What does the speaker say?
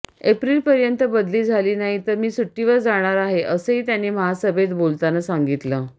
एप्रिलपर्यंत बदली झाली नाही तर मी सुट्टीवर जाणार आहे असंही त्यांनी महासभेत बोलताना सांगितलं